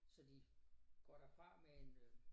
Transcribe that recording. Så de går derfra med en øh